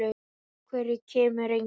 Af hverju kemur enginn?